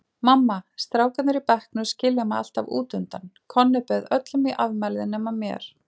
Mamma, strákarnir í bekknum skilja mig alltaf útundan, Konni bauð öllum í afmælið nema mér.